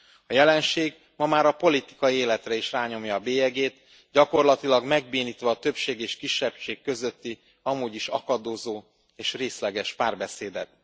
A jelenség ma már a politikai életre is rányomja a bélyegét, gyakorlatilag megbénítva a többség és a kisebbség közötti amúgy is akadozó és részleges párbeszédet.